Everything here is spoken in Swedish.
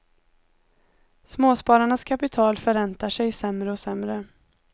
Småspararnas kapital förräntar sig sämre och sämre.